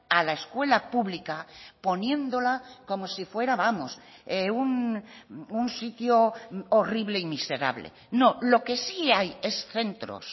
a la escuela pública poniéndola como si fuera vamos un sitio horrible y miserable no lo que sí hay es centros